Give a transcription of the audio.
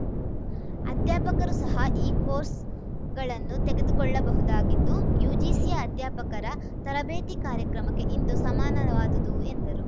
ಅಧ್ಯಾಪಕರು ಸಹ ಈ ಕೋರ್ಸ್‌ಗಳನ್ನು ತೆಗೆದುಕೊಳ್ಳಬಹುದಾಗಿದ್ದು ಯುಜಿಸಿಯ ಅಧ್ಯಾಪಕರ ತರಬೇತಿ ಕಾರ್ಯಕ್ರಮಕ್ಕೆ ಇಂದು ಸಮನಾದುದು ಎಂದರು